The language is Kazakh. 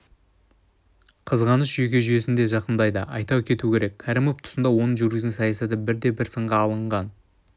қызғаныш жүйке жүйесін де зақымдайды айта кету керек кәрімов тұсында оның жүргізген саясаты бірде-бір сынға алынған